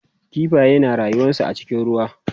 kifaye na rayuwansu a cikin ruwa